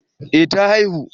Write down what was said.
eh ta haihu